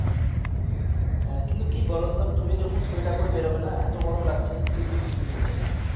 হ্যা কিন্তু কি বলো তো দেখো তো তুমি যখন সোয়েটার পরে বের হবে না এতো গরম লাগছে চিরবির করছে গা